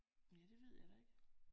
Ja det ved jeg da ikke